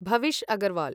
भविष् अग्रवाल्